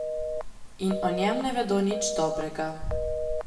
In o njem ne vedo nič dobrega.